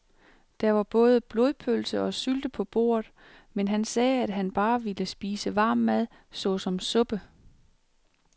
Der var både blodpølse og sylte på bordet, men han sagde, at han bare ville spise varm mad såsom suppe.